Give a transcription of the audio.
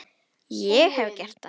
Ég hef gert það.